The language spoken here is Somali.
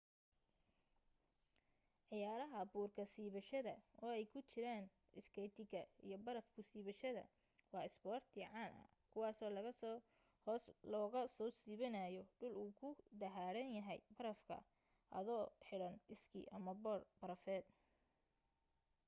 ciyaaraha buurka ka siibashada oo ay ku jiraan iskeytiga iyo baraf ku siibashada waa isboorti caan ah kuwaaso laga soo hoos looga soo siibanayo dhul uu ku dahaadhan yahay barafa ado xiran iskii ama boodh barafeed